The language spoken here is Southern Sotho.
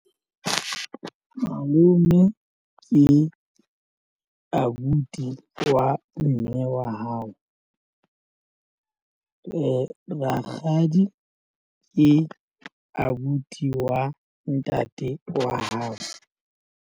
Malome ke abuti wa mme wa hao. Rakgadi ke abuti wa ntate wa hao.